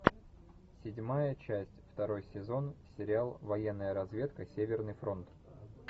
седьмая часть второй сезон сериал военная разведка северный фронт